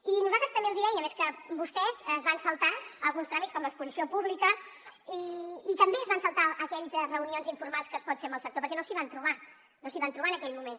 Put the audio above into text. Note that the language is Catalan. i nosaltres també els dèiem és que vostès es van saltar alguns tràmits com l’exposició pública i també es van saltar aquelles reunions informals que es pot fer amb el sector perquè no s’hi van trobar no s’hi van trobar en aquell moment